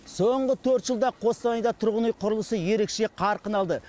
соңғы төрт жылда қостанайда тұрғын үй құрылысы ерекше қарқын алды